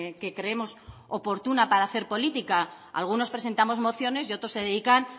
que creemos oportuna para hacer política algunos presentamos mociones y otros se dedican